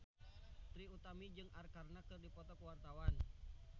Trie Utami jeung Arkarna keur dipoto ku wartawan